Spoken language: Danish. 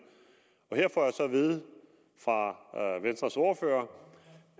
og her får jeg så at vide fra venstres ordfører